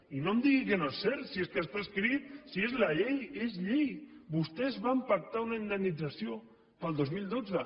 i no em digui que no és cert si es que està escrit si és la llei és llei vostès van pactar una indemnització per al dos mil dotze